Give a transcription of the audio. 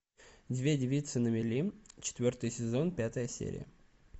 две девицы на мели четвертый сезон пятая серия